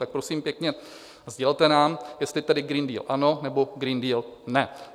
Tak prosím pěkně, sdělte nám, jestli tedy Green Deal ano, nebo Green Deal ne.